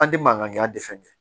An tɛ mankan tɛ fɛn kɛ